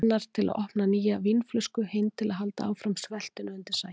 Annar til að opna nýja vínflösku, hinn til að halda áfram sveltinu undir sæng.